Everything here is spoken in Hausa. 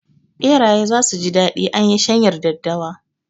Ɓeraye zasu ji daɗi anyi shanyar daddawa